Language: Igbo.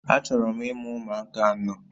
Achọrọ m imụ ụmụaka anọ